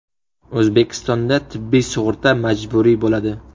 O‘zbekistonda tibbiy sug‘urta majburiy bo‘ladi.